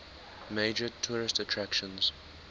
major tourist attractions